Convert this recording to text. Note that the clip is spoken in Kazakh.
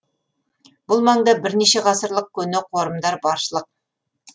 бұл маңда бірнеше ғасырлық көне қорымдар баршылық